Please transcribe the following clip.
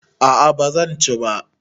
A'a bazan ci ba